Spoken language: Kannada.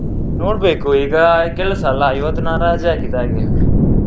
ನೋಡ್ಬೇಕು ಈಗ ಕೆಲಸ ಅಲ್ಲ ಇವತ್ತು ನಾನು ರಜೆ ಹಾಕಿದ್ದು ಹಾಗೆ.